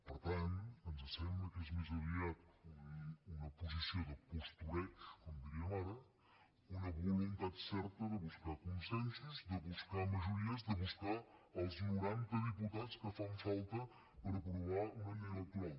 per tant ens sembla que és més aviat una posició de postureig com en diríem ara una voluntat certa de buscar consensos de buscar majories de buscar els noranta diputats que fan falta per aprovar una llei electoral